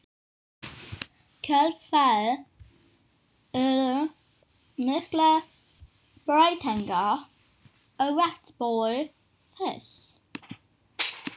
kjölfarið urðu miklar breytingar á vatnsborði þess.